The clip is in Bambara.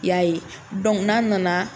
I y'a ye n'an nana